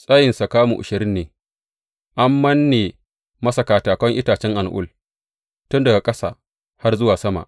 Tsayinsa kamu ashirin ne, an manne masa katakan itacen al’ul tun daga ƙasa har zuwa sama.